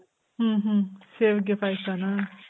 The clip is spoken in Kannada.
ಹ್ಮ್ ಹ್ಮ್. ಸೇವಿಗೆ ಪಾಯ್ಸನ ?